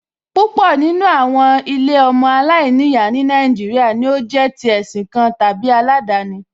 Púpọ̀ nínú àwọn ilé ọmọ aláìníyàá ní Nàìjíríà ni ó jẹ́ tí ẹ̀sìn kan tàbí aládani